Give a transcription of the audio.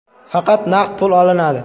Faqat naqd pul olinadi.